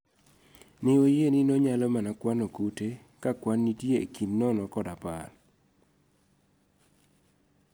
Ne wayie ni no nyalo mana kwano kute ka kwan nitie ekind nono kod apar. We agreed that it can only pick the worm when the units are between 0-10.